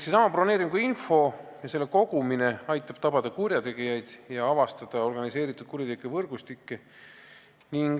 Seesama broneeringuinfo ja selle kogumine aitab tabada kurjategijaid ja avastada organiseeritud kuritegevuse võrgustikke.